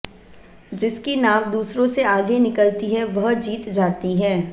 जिसकी नाव दूसरों से आगे निकलती है वह जीत जाती है